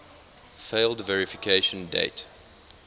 failed verification date